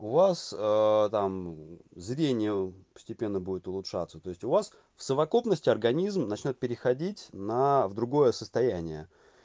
у вас там зрение постепенно будет улучшаться то есть у вас в совокупности организм начнёт переходить на в другое состояние